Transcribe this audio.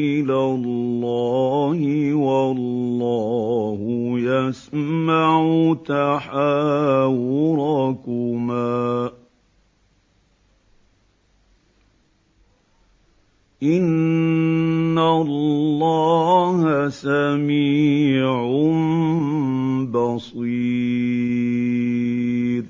إِلَى اللَّهِ وَاللَّهُ يَسْمَعُ تَحَاوُرَكُمَا ۚ إِنَّ اللَّهَ سَمِيعٌ بَصِيرٌ